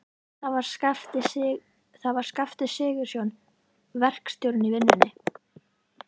Það var Skafti Sigurjónsson, verkstjórinn í vinnunni.